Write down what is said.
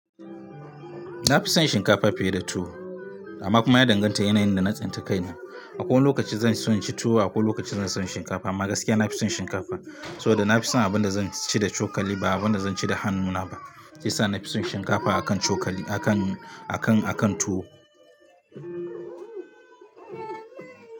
Na fi son shinkafa fiye da tuwo amma kuma ya danganta yanayin da na tsinta kaina. Akwai wani lokaci zanso inci tuwo akwai lokaci zanso inci shinkafa amma gaskiya na fi son shinkafa. Saboda nafi son abinda zanci da cokali ba abinda zanci da hannu na ba shiyasa na fi son shinkafa akan cokali akan, akan, akan tuwo.